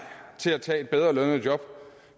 til at tage et bedre lønnet job